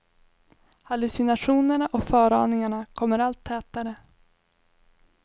Hallucinationerna och föraningarna kommer allt tätare.